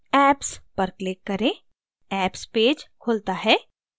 apps पर click करें apps page खुलता है